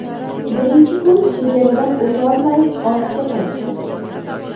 Birinchi kuni chegaradan o‘tolmay ortga qaytdik.